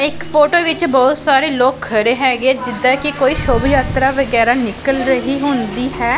ਇੱਕ ਫੋਟੋ ਵਿੱਚ ਬਹੁਤ ਸਾਰੇ ਲੋਕ ਖੜੇ ਹੈਗੇ ਆ ਜਿੱਦਾਂ ਕਿ ਕੋਈ ਸ਼ੁਭ ਯਾਤਰਾ ਵਗੈਰਾ ਨਿਕਲ ਰਹੀ ਹੁੰਦੀ ਹੈ।